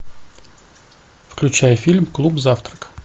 включай фильм клуб завтрак